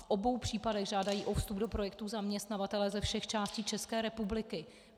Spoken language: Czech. V obou případech žádají o vstup do projektů zaměstnavatelé ze všech částí České republiky.